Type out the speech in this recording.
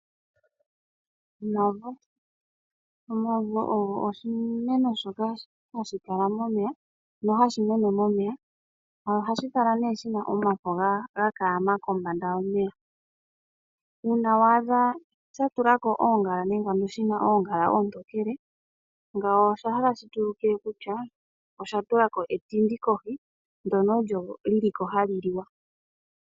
Omavo ogo oshimeno shoka hashi mene momeya. Ohashi kala shina omafo ngono hagakala ga kaama kombanda yomeya. Uuna wadha sha tula ko oongala ontokele ngawo otaahi like kutua osha tula ko etindi kohi ndyono olyo hali liwa.